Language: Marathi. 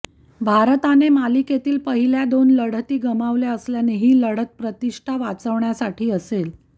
भारताने मालिकेतील पहिल्या दोन लढती गमावल्या असल्याने ही लढत प्रतिष्ठा वाचवण्यासाठी असेल